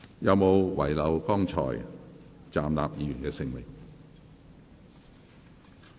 有沒有遺漏剛才站立的議員的姓名？